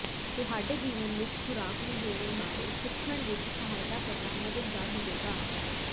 ਤੁਹਾਡੇ ਜੀਵਨ ਵਿੱਚ ਖੁਰਾਕ ਨੂੰ ਜੋੜਨ ਬਾਰੇ ਸਿੱਖਣ ਵਿੱਚ ਸਹਾਇਤਾ ਕਰਨਾ ਮਦਦਗਾਰ ਹੋਵੇਗਾ